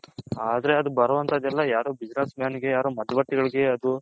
ಆದ್ರೆ ಅದು ಬಾರೋವನ್ತದು ಎಲ್ಲಾ ಯಾರು Business Man ಗೆ